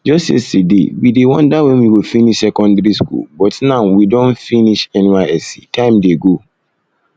just yesterday we dey wonder when we go finish secondary school but but now we don finish nysc time dey go